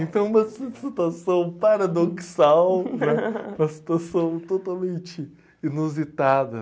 Então é uma si situação paradoxal, né? Uma situação totalmente inusitada.